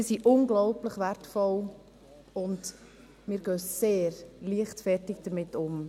Sie sind unglaublich wertvoll, und wir gehen sehr leichtfertig damit um.